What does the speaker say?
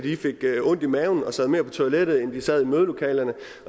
fik ondt i maven og sad mere på toilettet end de sad i mødelokalerne